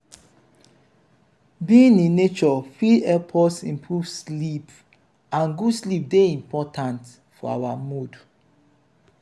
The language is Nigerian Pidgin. being in nature fit help us improve sleep and good sleep dey important for our mood